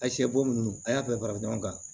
A sɛ bo nunnu a y'a bɛɛ fara ɲɔgɔn kan